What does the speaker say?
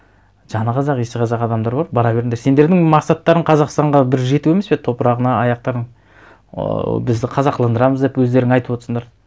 жаны қазақ иісі қазақ адамдар бар бара беріңдер сендердің мақсаттарың қазақстанға бір жету емес пе топырағына аяқтарың ыыы бізді қазақыландырамыз деп өздерің айтып отырсыңдар